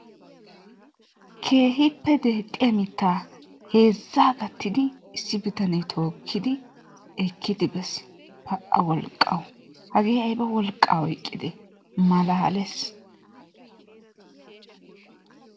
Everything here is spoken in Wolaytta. Keehippe deexxiya mittaa heezzaa gattidi issi bitanee tokkiidi ekkidi bes. Pa"a wolqqawu! Hagee ayba wolqaa oyqidee? Malaales!.